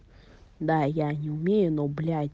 да я не умею но блять